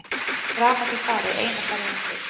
Rafmagnið farið eina ferðina til.